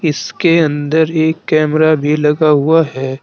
इसके अंदर एक कैमरा भी लगा हुआ है।